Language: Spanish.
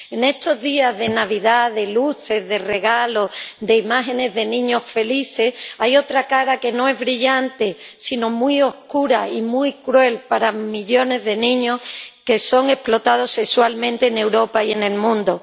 En estos días de Navidad, de luces, de regalos, de imágenes de niños felices, hay otra cara que no es brillante sino muy oscura y muy cruel para millones de niños que son explotados sexualmente en Europa y en el mundo.